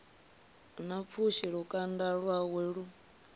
na pfushi lukanda lwawe lu